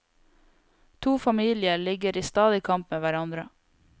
To familier ligger i stadig kamp med hverandre.